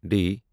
D